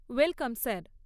Welcome sir.